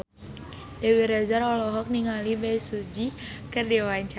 Dewi Rezer olohok ningali Bae Su Ji keur diwawancara